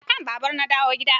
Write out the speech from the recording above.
Akan babur na dawo gida.